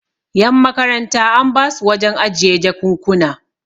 yanmakaranta an basu wajen ajiye jakunkuna